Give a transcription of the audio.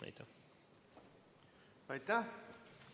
Aitäh!